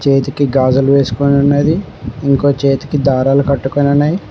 చేతికి గాజులు వేసుకుని ఉన్నది ఇంకో చేతికి దారాలు కట్టుకొని ఉన్నది